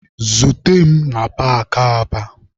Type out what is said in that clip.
Zute mụ na paakị Aba!